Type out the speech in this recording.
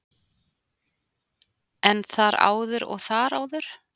En þar áður og þar áður?